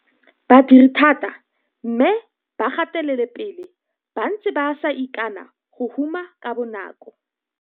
Ba dire thata mme ba gatelele pele ba ntse ba sa ikane go huma ka bonako.